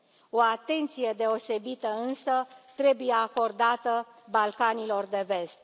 O atenție deosebită, însă, trebuie acordată Balcanilor de Vest.